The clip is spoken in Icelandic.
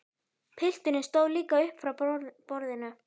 Pilturinn stóð líka upp frá borðinu.